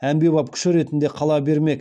әмбебеп күші ретінде қала бермек